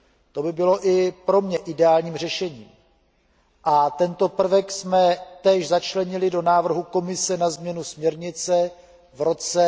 To by bylo i pro mě ideálním řešením a tento prvek jsme též začlenili do návrhu Komise na změnu směrnice v roce